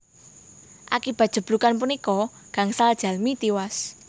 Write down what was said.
Akibat jeblugan punika gangsal jalmi tiwas